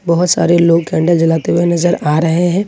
बहुत सारे लोग कैंडल जलते हुए नजर आ रहे हैं।